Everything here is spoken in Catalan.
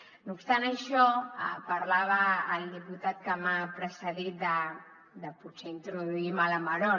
no obstant això parlava el diputat que m’ha precedit de potser introduir mala maror